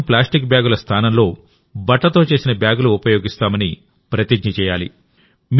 కనీసం ప్లాస్టిక్ బ్యాగుల స్థానంలో బట్టతో చేసిన బ్యాగులు ఉపయోగిస్తామని ప్రతిజ్ఞ చేయాలి